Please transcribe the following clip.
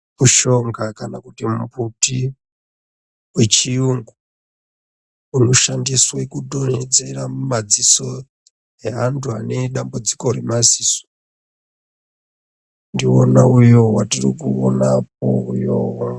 Mushonga kana kuti mumbuti wechiyungu unoshandiswe kudonhedzera mumadziso eantu ane dambudziko remadziso ndiwona uyoo watiri kuona apo uyoo.